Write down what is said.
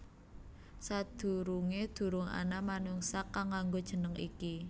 Sadurungé durung ana manungsa kang nganggo jeneng iki